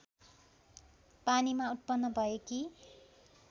पानीमा उत्पन्न भएकी